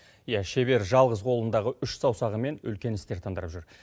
иә шебер жалғыз қолындағы үш саусағымен үлкен істер тындырып жүр